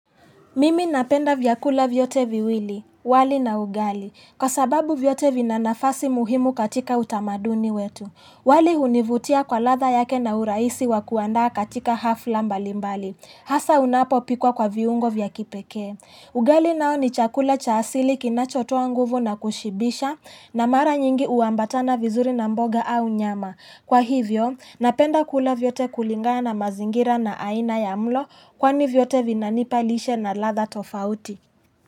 Mimi napenda vyakula vyote viwili, wali na ugali. Kwa sababu vyote vinanafasi muhimu katika utamaduni wetu. Wali hunivutia kwa latha yake na uraisi wakuanda katika hafla mbalimbali. Hasa unapo pikwa kwa viungo vya kipekee. Ugali nao ni chakula cha asili kinachotoa nguvu na kushibisha na mara nyingi uambatana vizuri na mboga au nyama. Kwa hivyo, napenda kula vyote kulingana na mazingira na aina ya mlo kwani vyote vinanipalishe na latha tofauti.